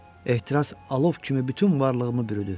Ehtiras alov kimi bütün varlığımı bürüdü.